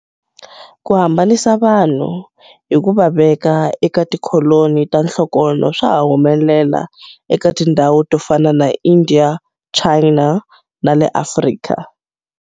Ku hambanisa vanhu hi ku va veka eka tikholoni ta nhlokonho swa ha humelela eka tindhawu to fana na India, China, na le Afrika.